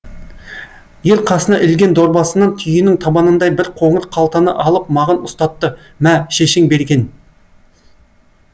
ер қасына ілген дорбасынан түйенің табанындай бір қоңыр қалтаны алып маған ұстатты мә шешең берген